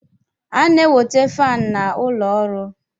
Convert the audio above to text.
A na-enweta faanụ n'ụlọ ọrụ.